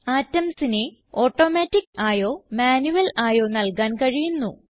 atomsനെ automatic ആയോ manual ആയോ നൽകാൻ കഴിയുന്നു